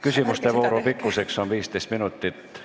Küsimuste vooru pikkus on 15 minutit.